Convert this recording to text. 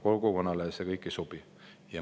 Kogukonnale see kõik ei sobi.